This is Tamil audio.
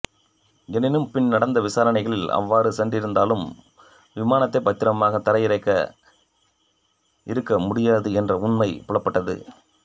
எனினும் பின் நடந்த விசாரணைகளில் அவ்வாறு சென்றிருந்தாலும் விமானத்தை பத்திரமாக தரை இறக்கி இருக்க முடியாது என்ற உண்மை புலப்பட்டது